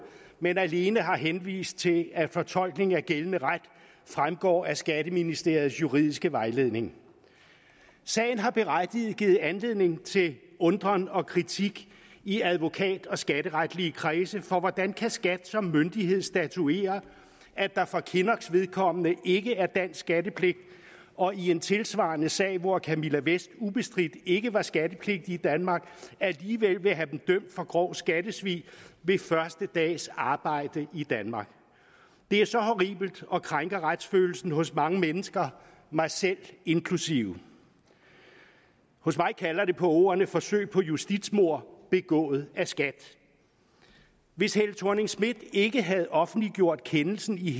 men alene har henvist til at fortolkningen af gældende ret fremgår af skatteministeriets juridiske vejledning sagen har berettiget givet anledning til undren og kritik i advokat og skatteretlige kredse for hvordan kan skat som myndighed statuere at der for kinnocks vedkommende ikke er dansk skattepligt og i en tilsvarende sag hvor camilla vest ubestridt ikke var skattepligtig i danmark alligevel vil have dem dømt for grov skattesvig ved første dags arbejde i danmark det er så horribelt og krænker retsfølelsen hos mange mennesker mig selv inklusive hos mig kalder det på ordene forsøg på justitsmord begået af skat hvis helle thorning schmidt ikke havde offentliggjort kendelsen i